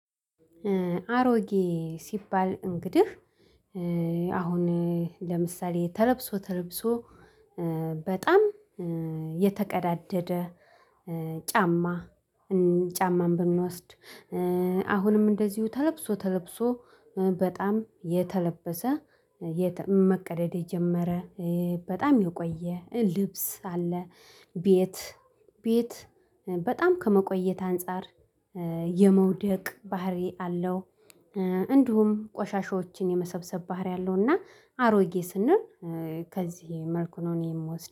አሮጌ ሲባል እንግዲህ አሁን ለምሳሌ ተለብሶ ተለብሶ በጣም የተቀዳደደ ጫማ ጫማን ብንወስድ አሁንም እንደዚሁ ተለብሶ ተለብሶ በጣም የተለበሰ መቀደድ የጀመረ በጣም የቆየ ልብስ አለ ቤት ቤት በጣም ከመቆየት አንፃር የመውደቅ ባህሪ አለው። እንዲሁም ቆሻሻዎችን የመሰብሰብ ባህሪ አለውና አሮጌ ስንል ከዚህ መልኩ ነው እኔ የምወስደው